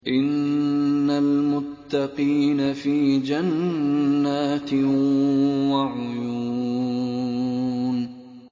إِنَّ الْمُتَّقِينَ فِي جَنَّاتٍ وَعُيُونٍ